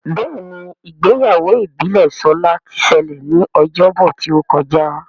Béèni Ìgbéyàwó ìbílè Shola tí ṣẹlẹ ní Ọjọ́ Bọ̀ tíó kọjá.